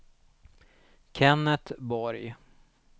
Kenneth Borg